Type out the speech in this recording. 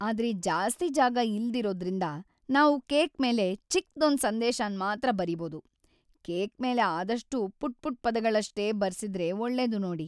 ಆದ್ರೆ ಜಾಸ್ತಿ ಜಾಗ ಇಲ್ದಿರೋದ್ರಿಂದ, ನಾವು ಕೇಕ್ ಮೇಲೆ ಚಿಕ್ದೊಂದ್ ಸಂದೇಶನ್ ಮಾತ್ರ ಬರೀಬೋದು. ಕೇಕ್ ಮೇಲೆ ‌ಆದಷ್ಟೂ ಪುಟ್ಪುಟ್ ಪದಗಳ್ನಷ್ಟೇ ಬರ್ಸಿದ್ರೆ ಒಳ್ಳೇದು ನೋಡಿ.